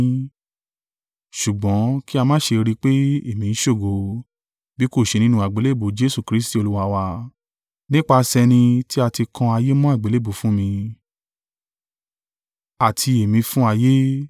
Ṣùgbọ́n kí a má ṣe rí i pé èmi ń ṣògo, bí kò ṣe nínú àgbélébùú Jesu Kristi Olúwa wa, nípasẹ̀ ẹni tí a ti kan ayé mọ́ àgbélébùú fún mi, àti èmi fún ayé.